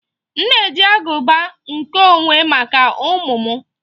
M na-eji aguba nkeonwe maka ụmụ m